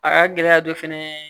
A ka gɛlɛya dɔ fɛnɛ ye